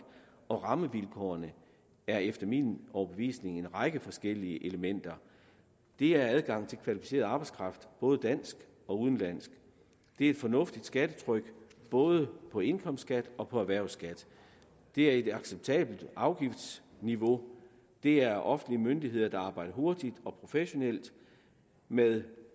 og rammevilkårene er efter min overbevisning en række forskellige elementer det er adgang til kvalificeret arbejdskraft både dansk og udenlandsk det er et fornuftigt skattetryk både på indkomstskat og på erhvervsskat det er et acceptabelt afgiftsniveau det er offentlige myndigheder der arbejder hurtigt og professionelt med